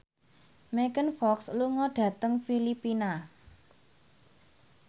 Megan Fox lunga dhateng Filipina